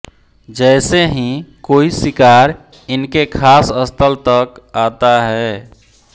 जैसे ही कोई शिकार इनके खास स्थल तक आता है